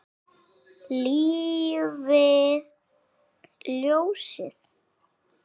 Lifi ljósið.